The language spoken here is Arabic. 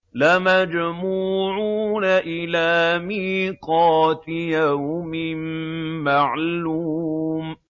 لَمَجْمُوعُونَ إِلَىٰ مِيقَاتِ يَوْمٍ مَّعْلُومٍ